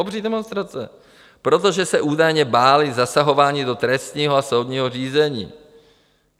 Obří demonstrace, protože se údajně báli zasahování do trestního a soudního řízení.